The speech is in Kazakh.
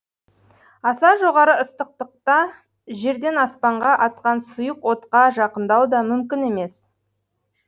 аса жоғары ыстықтықта жерден аспанға атқан сұйық отқа жақындау да мүмкін емес